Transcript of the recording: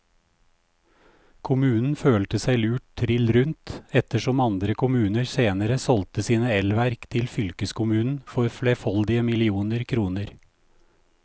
Kommunen følte seg lurt trill rundt, ettersom andre kommuner senere solgte sine elverk til fylkeskommunen for flerfoldige millioner kroner.